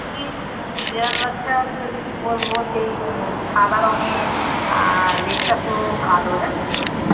বেড়াল বাচ্ছা তোকে কি বলবো সেই সাদা রঙের লেজটা পুরো কালো জানিস তো?